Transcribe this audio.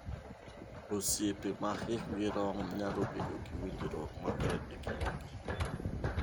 Osiepe ma hikgi rom nyalo bedo gi winjruok maber e kindgi.